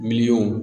Miliyɔn